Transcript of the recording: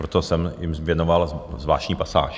Proto jsem jim věnoval zvláštní pasáž.